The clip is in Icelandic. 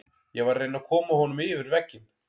Ég var að reyna að koma honum yfir vegginn.